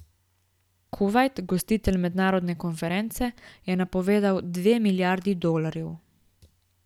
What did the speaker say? Kuvajt, gostitelj mednarodne konference, je napovedal dve milijardi dolarjev.